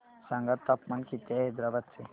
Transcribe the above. सांगा तापमान किती आहे हैदराबाद चे